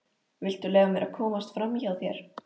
Viltu leyfa mér að komast framhjá þér!